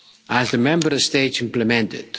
as the Member States implement it.